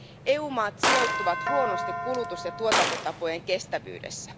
EU maat sijoittuvat huonosti kulutus ja tuotantotapojen kestävyydessä.